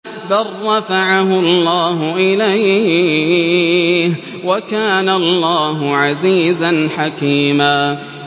بَل رَّفَعَهُ اللَّهُ إِلَيْهِ ۚ وَكَانَ اللَّهُ عَزِيزًا حَكِيمًا